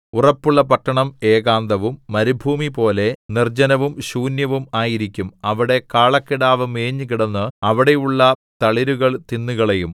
ഉറപ്പുള്ള പട്ടണം ഏകാന്തവും മരുഭൂമിപോലെ നിർജ്ജനവും ശൂന്യവും ആയിരിക്കും അവിടെ കാളക്കിടാവു മേഞ്ഞുകിടന്ന് അവിടെയുള്ള തളിരുകൾ തിന്നുകളയും